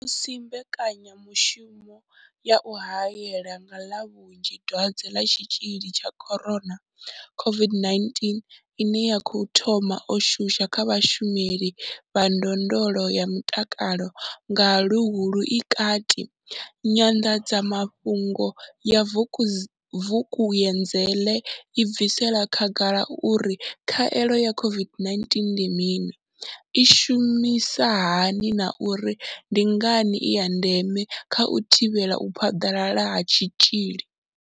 Musi mbekanyamu shumo ya u haela nga vhunzhi dwadze ḽa tshitzhili tsha corona, COVID-19 ine ya khou thoma u shuma kha vhashumeli vha ndondolo ya mutakalo nga Luhuhi i kati, nyanḓadzamafhungo ya Vukuzenzele i bvisela khagala uri khaelo ya COVID-19 ndi mini, i shumisa hani na uri ndi ngani i ya ndeme kha u thivhela u phaḓalala ha tshitzhili.